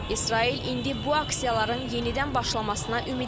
İsrail indi bu aksiyaların yenidən başlamasına ümidlidir.